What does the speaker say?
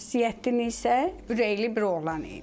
Ziyəddin isə ürəkli bir oğlan idi.